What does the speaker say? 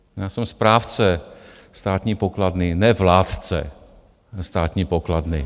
Já jsem správce státní pokladny, ne vládce státní pokladny.